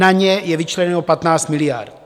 Na ně je vyčleněno 15 miliard.